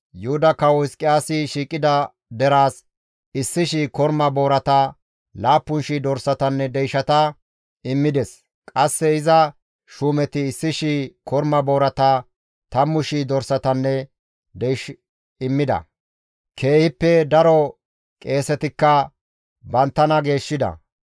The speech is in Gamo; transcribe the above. Yuhuda Kawo Hizqiyaasi shiiqida deraas 1,000 korma boorata, 7,000 dorsatanne deyshata immides; qasse iza shuumeti 1,000 korma boorata, 10,000 dorsatanne deysh immida; keehippe daro qeesetikka banttana geeshshida.